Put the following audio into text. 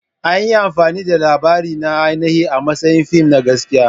An yi amfani da labarina na ainihina a matsayin fim na gaskiya.